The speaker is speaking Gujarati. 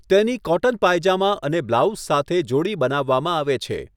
તેની કોટન પાયજામા અને બ્લાઉઝ સાથે જોડી બનાવવામાં આવે છે.